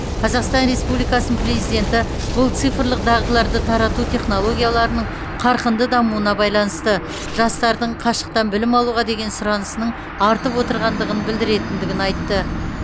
қазақстан республикасының президенті бұл цифрлық дағдыларды тарату технологияларының қарқынды дамуына байланысты жастардың қашықтан білім алуға деген сұранысының артып отырғандығын білдіретіндігін айтты